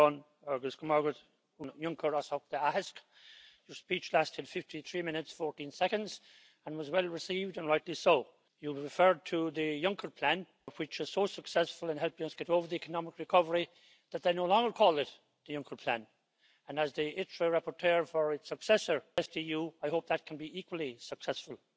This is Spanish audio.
Defendemos la cohesión, pero dotamos de escasos recursos o recortamos la PAC y la política de cohesión. Defendemos liderar la lucha contra el cambio climático, pero este año han aumentado las emisiones, y los recursos de que vamos a dotar la lucha contra el cambio climático son cicateros. Señor presidente, si queremos enganchar con la ciudadanía europea, tenemos que hacer que las palabras se correspondan con los hechos, que avance la igualdad y que avance también el pilar social.